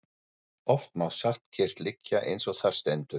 Oft má satt kyrrt liggja eins og þar stendur.